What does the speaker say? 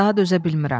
daha dözə bilmirəm.